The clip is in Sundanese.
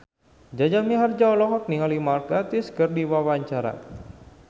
Jaja Mihardja olohok ningali Mark Gatiss keur diwawancara